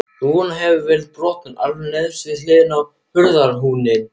Rúðan hefur verið brotin alveg neðst við hliðina á hurðarhúninum.